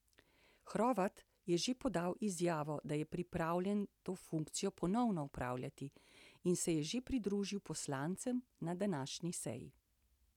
Hrovat je že podal izjavo, da je pripravljen to funkcijo ponovno opravljati, in se je že pridružil poslancem na današnji seji.